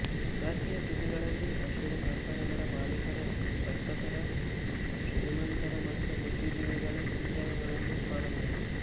ಗಾರ್ಕಿಯ ಕೃತಿಗಳಲ್ಲಿ ರಷ್ಯದ ಕಾರ್ಖಾನೆಗಳ ಮಾಲೀಕರ ವರ್ತಕರ ಶ್ರೀಮಂತರ ಮತ್ತು ಬುದ್ಧಿಜೀವಿಗಳ ಚಿತ್ರಗಳನ್ನೂ ಕಾಣಬಹುದು